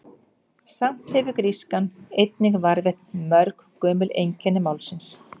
Samt hefur grískan einnig varðveitt mörg gömul einkenni málsins.